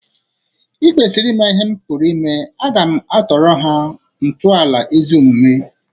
Ị kwesiri ima ihe m pụrụ ime. Aga m atọrọ ha ntọala ezi omume.